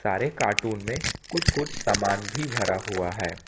सारे कार्टून में कुछ कुछ सामान भी भरा हुआ है।